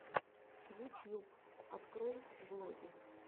ютьюб открой влоги